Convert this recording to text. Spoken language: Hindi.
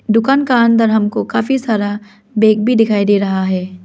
दुकान का अंदर हमको काफी सारा बैग भी दिखाई दे रहा है।